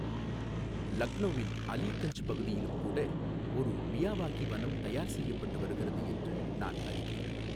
லக்னௌவின் அலீகஞ்ஜ் பகுதியிலும் கூட ஒரு மியாவாகி வனம் தயார் செய்யப்பட்டு வருகிறது என்று நான் அறிவேன்.